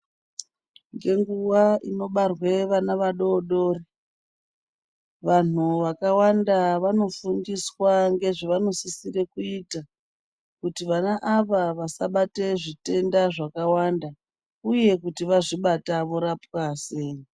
Ngenguwa inobarwe vana vadodori, vanhu vakawanda vanofundiswa ngezvavanosisire kuita, kuti vana ava vasabate zvitenda zvakawanda uye kuti vazvibata vorapwa sei.